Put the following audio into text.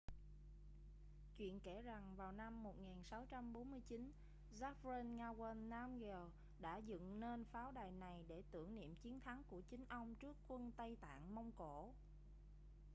chuyện kể rằng vào năm 1649 zhabdrung ngawang namgyel đã dựng nên pháo đài này để tưởng niệm chiến thắng của chính ông trước quân tây tạng-mông cổ